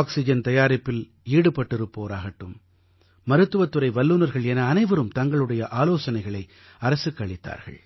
oxygen தயாரிப்பில் ஈடுபட்டிருப்போராகட்டும் மருத்துவத் துறை வல்லுநர்கள் என அனைவரும் தங்களது ஆலோசனைகளை அரசுக்கு அளித்தார்கள்